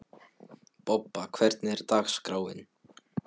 Bobba, hvernig er dagskráin?